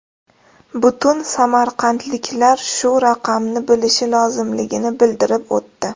Butun samarqandliklar shu raqamni bilishi lozimligini bildirib o‘tdi.